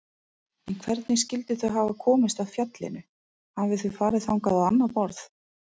En hvernig skyldu þau hafa komist að fjallinu, hafi þau farið þangað á annað borð?